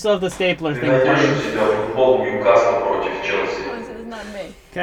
ты найдешь у себя футбол ньюкасла против челси